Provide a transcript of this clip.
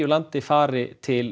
landi fari til